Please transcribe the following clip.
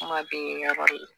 Kuma bɛ yɔrɔ de la